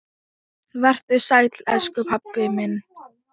Vertu sæll, elsku pabbi minn.